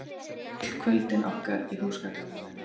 Öll kvöldin okkar í húsgagnabúðinni.